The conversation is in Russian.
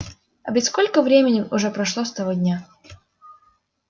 а ведь сколько времени уже прошло с того дня